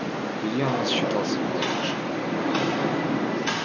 илья насчитал седьмой этаж